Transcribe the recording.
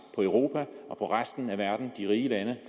på europa og resten af de rige lande